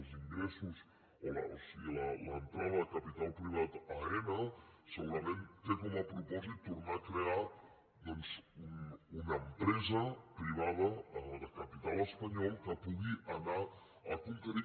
els ingressos o sigui l’entrada de capital privat a aena segurament té com a propòsit tornar a crear doncs una empresa privada de capital espanyol que pugui anar a conquerir